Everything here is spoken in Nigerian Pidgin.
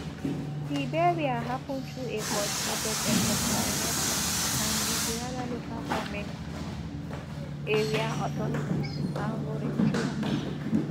di burial happun through a coordinated effort by nsema and di gurara local goment area authorities and volunteers